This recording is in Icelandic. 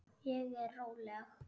Ég er róleg.